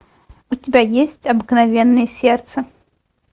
у тебя есть обыкновенное сердце